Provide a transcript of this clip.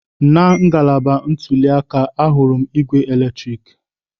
Na ngalaba ntuli aka, ahụrụ m ígwè eletrik.